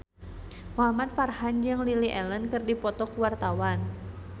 Muhamad Farhan jeung Lily Allen keur dipoto ku wartawan